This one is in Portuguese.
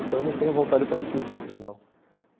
Então não tenho vontade para assistir os outros, não.